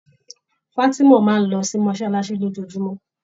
Fatima máa ń lọ sí mosolasi ni ojojumọ.